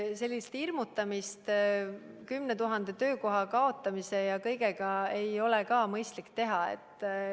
Sellist hirmutamist – 10 000 töökoha kadumine ja kõik muu – ei ole mõistlik teha.